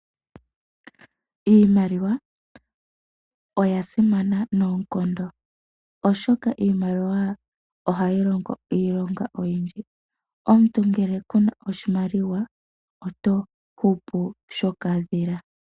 Iimaliwa oya simana noonkondo, oshoka iimaliwa ohayi longo iilonga oyindji. Omuntu ngele oku na oshimaliwa oto hupu shokadhila.